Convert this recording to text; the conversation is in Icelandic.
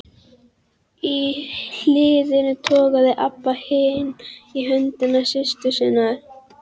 Í hliðinu togaði Abba hin í hönd systur sinnar.